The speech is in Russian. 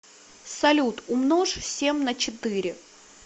салют умножь семь на четыре